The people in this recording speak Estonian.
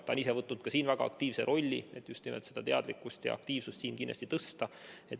Ta on ise võtnud siin väga aktiivse rolli, et just nimelt teadlikkust ja aktiivsust kindlasti suurendada.